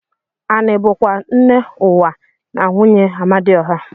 Ani bu kwa nne uwa na nwunye Amadioha.